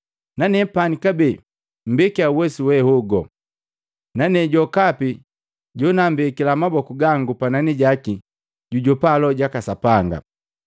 “Nanepani kabee mmbekiya uwesu wehogu, nane jokapi jonammbekila maboku gangu panani jaki, jujopa Loho jaka Sapanga.”